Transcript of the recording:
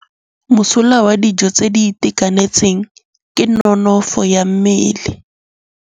Mosola wa dijô tse di itekanetseng ke nonôfô ya mmele.